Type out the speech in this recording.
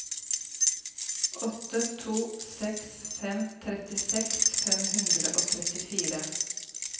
åtte to seks fem trettiseks fem hundre og trettifire